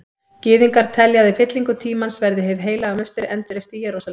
Gyðingar telja að í fyllingu tímans verði Hið heilaga musteri endurreist í Jerúsalem.